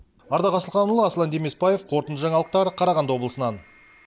ардақ асылханұлы аслан демесбаев қорытынды жаңалықтар қарағанды облысынан